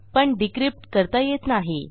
पण decryptकरता येत नाही